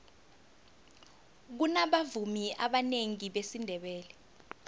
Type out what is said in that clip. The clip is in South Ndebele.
kunabavumi abanengi besindebele